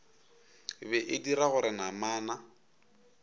be e dira gore namana